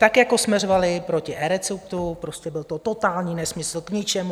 Tak jako jsme řvali proti eReceptu, prostě byl to totální nesmysl, k ničemu...